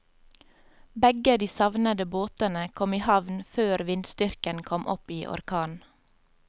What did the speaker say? Begge de savnede båtene kom i havn før vindstyrken kom opp i orkan.